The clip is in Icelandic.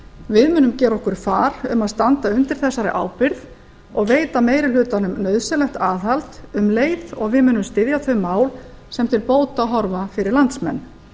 við munum gera okkur far um að standa undir þessari ábyrgð og veita meiri hlutanum nauðsynlegt aðhald um leið og við munum styðja þau mál sem til bóta horfa fyrir landsmenn